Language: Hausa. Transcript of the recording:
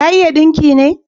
Ta iya dinki ne?